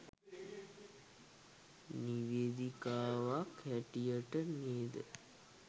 නිවේදිකාවක් හැටියට නේද